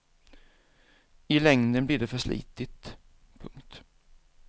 I längden blir det för slitigt. punkt